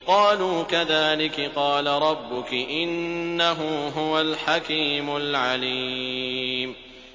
قَالُوا كَذَٰلِكِ قَالَ رَبُّكِ ۖ إِنَّهُ هُوَ الْحَكِيمُ الْعَلِيمُ